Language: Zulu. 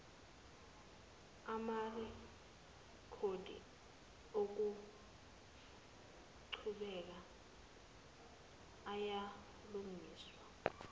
amarekhodi okuqhubeka ayalungiswa